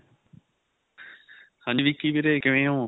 ਹਾਂਜੀ ਵਿੱਕੀ ਵੀਰੇ ਕਿਵਾਂ ਓ